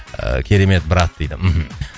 ыыы керемет брат дейді мхм